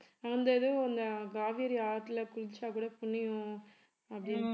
அந்த இது அந்த காவிரி ஆத்தில குளிச்சாக் கூட புண்ணியம் அப்படின்னு